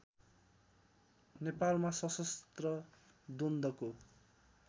नेपालमा सशस्त्र द्वन्द्वको